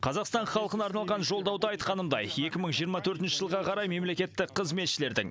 қазақстан халқына арналған жолдауда айтқанымдай екі мың жиырма төртінші жылға қарай мемлекеттік қызметшілердің